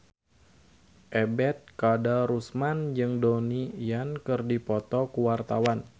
Ebet Kadarusman jeung Donnie Yan keur dipoto ku wartawan